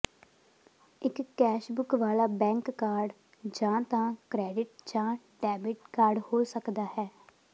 ਇੱਕ ਕੈਸਬੈਕ ਵਾਲਾ bank card ਜਾਂ ਤਾਂ ਕ੍ਰੈਡਿਟ ਜਾਂ ਡੈਬਿਟ ਕਾਰਡ ਹੋ ਸਕਦਾ ਹੈ